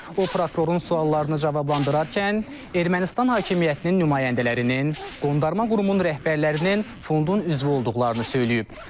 O prokurorun suallarına cavablandırarkən Ermənistan hakimiyyətinin nümayəndələrinin, Qondarma qrupumun rəhbərlərinin fondun üzvü olduqlarını söyləyib.